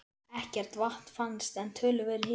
Ekkert vatn fannst, en töluverður hiti.